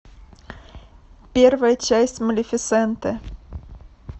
первая часть малефисенты